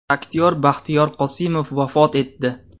Aktyor Baxtiyor Qosimov vafot etdi .